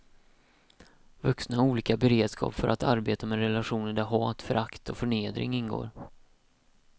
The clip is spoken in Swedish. Vuxna har olika beredskap för att arbeta med relationer där hat, förakt och förnedring ingår.